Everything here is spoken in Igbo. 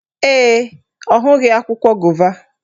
Ee, ọ hụghị akwụkwọ gova